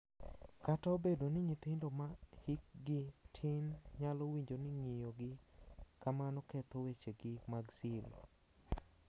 Kata obedo ni nyithindo ma hikgi tin nyalo winjo ni ng’iyogi kamano ketho wechegi mag siri.